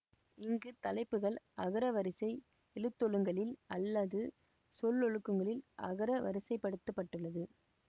இங்கு தலைப்புக்கள் அகரவரிசை எழுத்தொழுங்கில் அல்லாது சொலொழுக்கங்களில் அகரவரிசைப்படுத்தப்பட்டுள்ளது